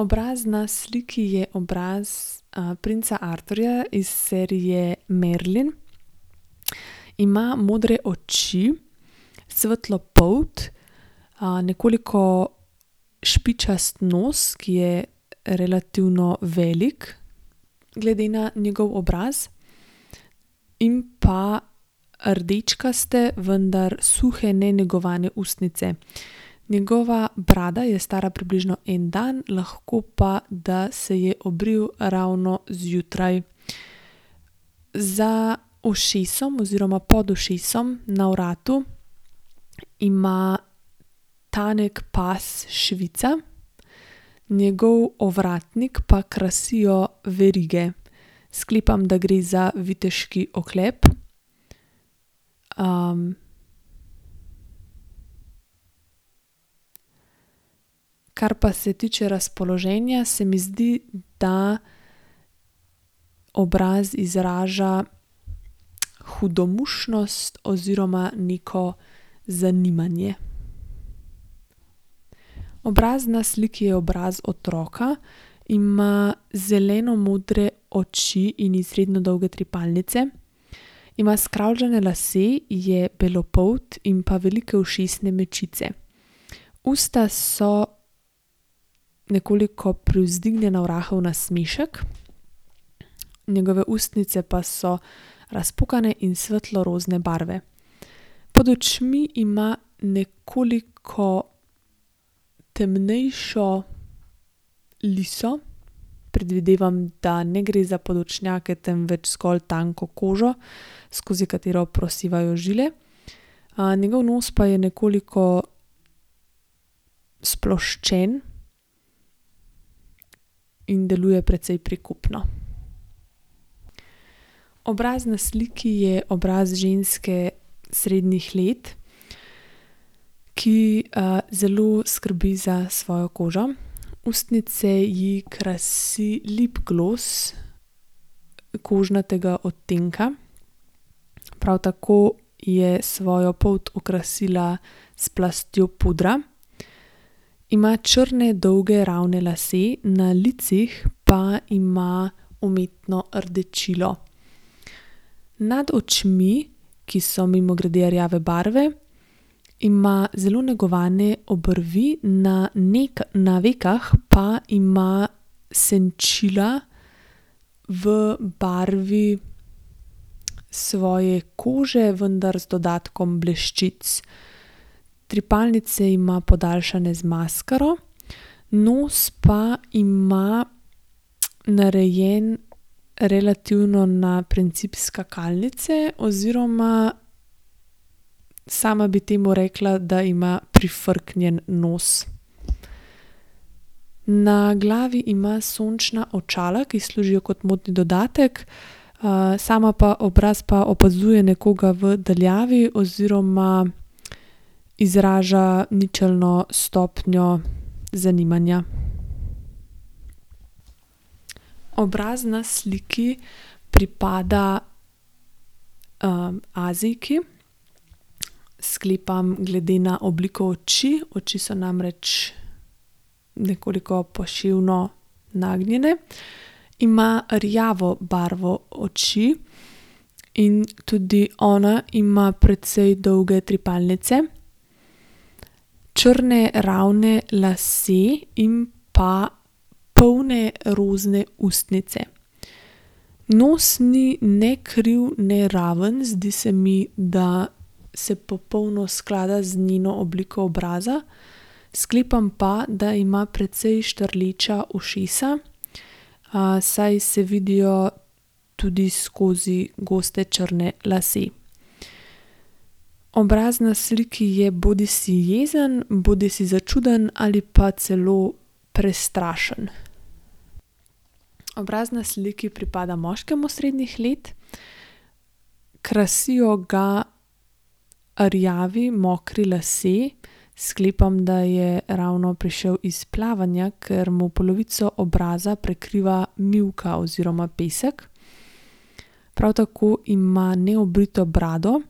Obraz na sliki je obraz, princa Arturja iz serije Merlin, , ima modre oči, svetlo polt, nekoliko špičast nos, ki je relativno velik glede na njegov obraz, in pa rdečkaste, vendar suhe, nenegovane ustnice. Njegova brada je stara približno en dan, lahko pa, da se je obril ravno zjutraj. Za ušesom oziroma pod ušesom, na vratu, ima tanek pas švica, njegov ovratnik pa krasijo verige. Sklepam, da gre za viteški oklep, Kar pa se tiče razpoloženja, se mi zdi, da obraz izraža hudomušnost oziroma neko zanimanje. Obraz na sliki je obraz otroka, ima zelenomodre oči in izredno dolge trepalnice, ima skravžane lase, je belopolt in pa velike ušesne mečice. Usta so nekoliko privzdignjena v rahel nasmešek, njegove ustnice pa so razpokane in svetlorozne barve. Pod očmi ima nekoliko temnejšo liso, predvidevam, da ne gre za podočnjake, temveč zgolj tanko kožo, skozi katero prosevajo žile, njegov nos pa je nekoliko sploščen in deluje precej prikupno. Obraz na sliki je obraz ženske srednjih let, ki, zelo skrbi za svojo kožo. Ustnice ji krasi lip glos kožnatega odtenka, prav tako je svojo polt okrasila s plastjo pudra. Ima črne dolge ravne lase, na licih pa ima umetno rdečilo. Nad očmi, ki so mimogrede rjave barve, ima zelo negovane obrvi na na vekah pa ima senčila v barvi svoje kože, vendar z dodatkom bleščic. Trepalnice ima podaljšane z maskaro, nos pa ima narejen relativno na princip skakalnice oziroma sama bi temu rekla, da ima prifrknjen nos. Na glavi ima sončna očala, ki služijo kot modni dodatek, sama pa, obraz pa opazuje nekoga v daljavi oziroma izraža ničelno stopnjo zanimanja. Obraz na sliki pripada, Azijki, , sklepam glede na obliko oči oči, so namreč nekoliko poševno nagnjene, ima rjavo barvo oči in tudi ona ima precej dolge trepalnice, črne ravne lase in pa polne rozne ustnice. Nos ni ne kriv ne raven, zdi se mi, da se popolno sklada z njeno obliko obraza, sklepam pa, da ima precej štrleča ušesa. saj se vidijo tudi skozi goste črne lase. Obraz na sliki je bodisi jezen bodisi začuden ali pa celo prestrašen. Obraz na sliki pripada moškemu srednjih let, krasijo ga rjavi mokri lasje, sklepam, da je ravno prišel iz plavanja, ker mu polovico obraza prekriva mivka oziroma pesek. Prav tako ima neobrito brado,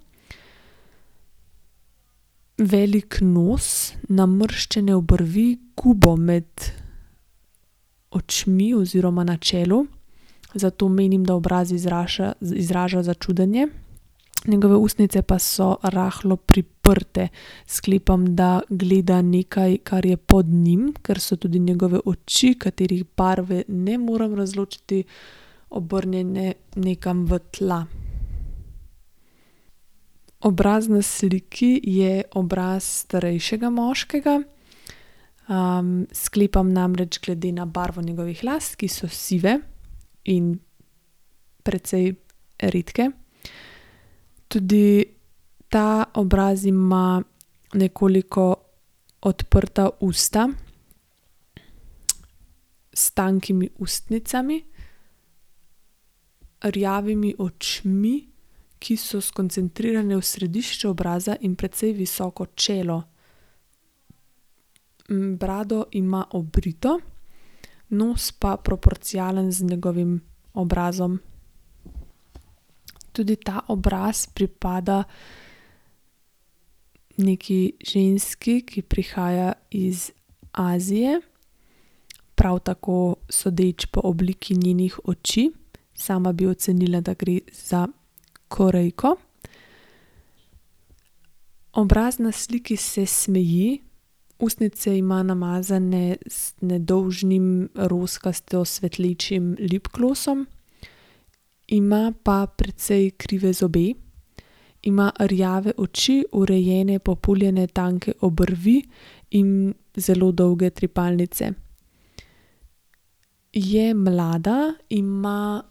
velik nos, namrščene obrvi, gube med očmi oziroma na čelu, zato menim, da obraz izraža začudenje. Njegove ustnice pa so rahlo priprte, sklepam, da gleda nekaj, kar je pod njim, ker so tudi njegove oči, katerih barve ne morem razločiti, obrnjene nekam v tla. Obraz na sliki je obraz starejšega moškega, sklepam namreč glede na barvo njegovih las, ki so sive in precej redke. Tudi ta obraz ima nekoliko odprta usta s tankimi ustnicami, rjavimi očmi, ki so skoncentrirane v središče obraza, in precej visoko čelo. brado ima obrito, nos pa proporcionalen z njegovim obrazom. Tudi ta obraz pripada neki ženski, ki prihaja iz Azije, prav tako sodeč po obliki njenih oči, sama bi ocenila, da gre za Korejko. Obraz na sliki se smeji, ustnice ima namazane z nedolžnim rozkasto svetlečim lip glosom, ima pa precej krive zobe. Ima rjave oči, urejene populjene tanke obrvi in zelo dolge trepalnice. Je mlada, ima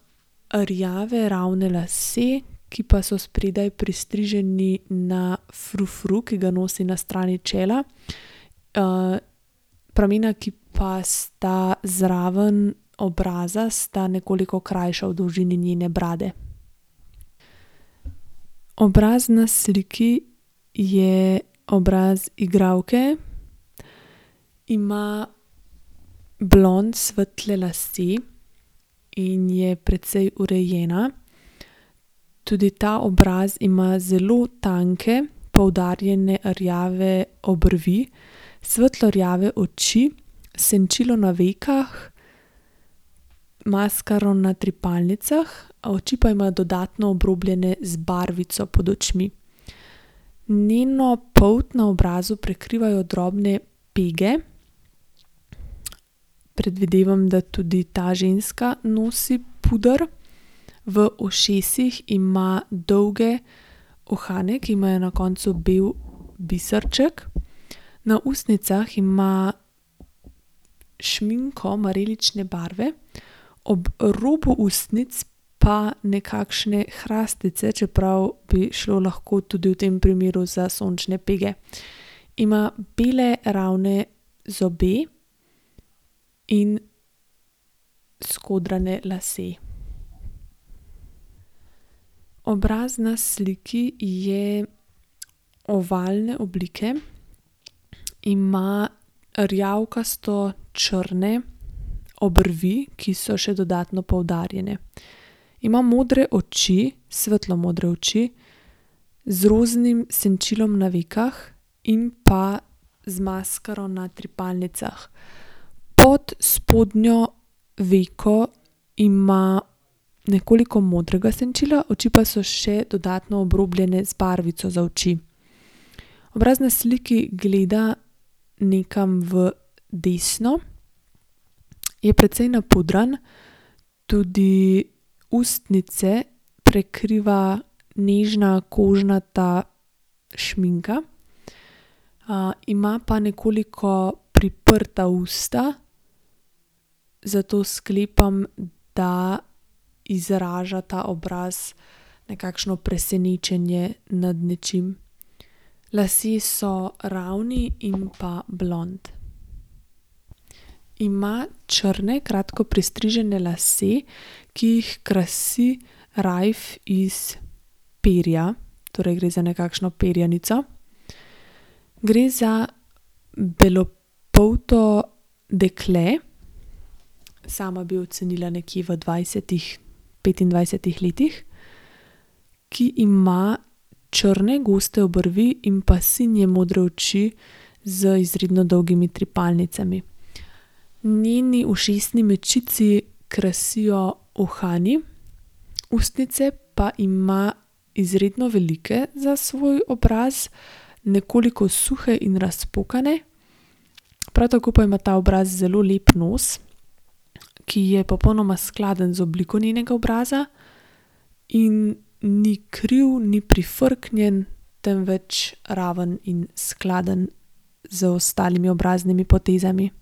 rjave ravne lase, ki pa so spredaj pristriženi na frufru, ki ga nosi na strani čela. pramena, ki pa sta zraven obraza, sta nekoliko krajša, v dolžini njene brade. Obraz na sliki je obraz igralke, ima blond svetle lase in je precej urejena. Tudi ta obraz ima zelo tanke, poudarjene rjave obrvi, svetlorjave oči, senčilo na vekah, maskaro na trepalnicah, oči pa ima dodatno obrobljene z barvico pod očmi. Njeno polt na obrazu prekrivajo drobne pege, predvidevam, da tudi ta ženska nosi puder. V ušesih ima dolge uhane, ki imajo na koncu bolj biserček, na ustnicah ima šminko marelične barve, ob robu ustnic pa nekakšne krastice, čeprav bi šlo lahko tudi v tem primeru za sončne pege. Ima bele ravne zobe in skodrane lase. Obraz na sliki je ovalne oblike, ima rjavkasto črne obrvi, ki so še dodatno poudarjene. Ima modre oči, svetlomodre oči, z roznim senčilom na vekah in pa z maskaro na trepalnicah. Pod spodnjo veko ima nekoliko modrega senčila, oči pa so še dodatno obrobljene z barvico za oči. Obraz na sliki gleda nekam v desno, je precej napudran, tudi ustnice prekriva nežna kožnata šminka, ima pa nekoliko priprta usta, zato sklepam, da izraža ta obraz nekakšno presenečenje nad nečim. Lasje so ravni in pa blond. Ima črne kratko pristrižene lase, ki jih krasi rajf iz perja, torej gre za nekakšno perjanico. Gre za belopolto dekle, sama bi ocenila nekje v dvajsetih, petindvajsetih letih, ki ima črne goste obrvi in pa sinje modre oči z izredno dolgimi trepalnicami. Njeni ušesni mečici krasijo uhani, ustnice pa ima izredno velike za svoj obraz, nekoliko suhe in razpokane. Prav tako pa ima ta obraz zelo lep nos, ki je popolnoma skladen z obliko njenega obraza in ni kriv, ni prifrknjen, temveč ravno in skladen z ostalimi obraznimi potezami.